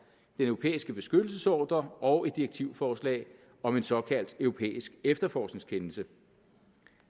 den europæiske beskyttelsesordre og et direktivforslag om en såkaldt europæisk efterforskningskendelse